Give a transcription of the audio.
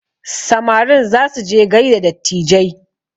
Samarin za su je gaida dattijai